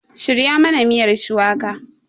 Shirya mana miyar shuwaka!